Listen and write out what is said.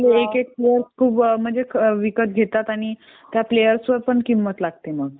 एक एक प्लेअर विकत घेतात आणि त्या प्लेयर वर पण किंमत लागते मग